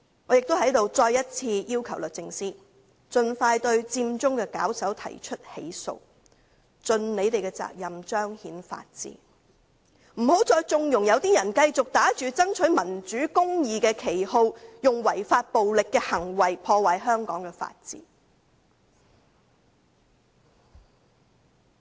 我在此亦再次要求律政司，盡快對佔中的發起人提出起訴，盡責任彰顯法治，不要再縱容一些人繼續打着"爭取民主公義"的旗號，以違法、暴力的行為破壞香港的法治。